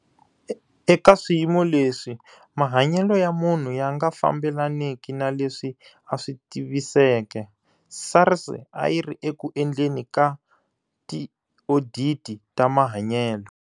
Eka swiyimo lwesi mahanyelo ya munhu ya nga fambelaniki na leswi a swi tiviseke, SARS a yi ri eku endleni ka tioditi ta mahanyelo.